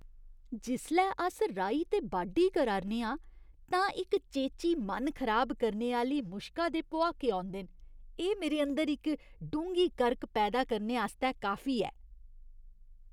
जिसलै अस राही ते बाड्ढी करा 'रने आं तां इक चेची मन खराब करने आह्‌ली मुश्का दे भुआके औंदे न, एह् मेरे अंदर इक डूंह्गी करक पैदा करने आस्तै काफी ऐ।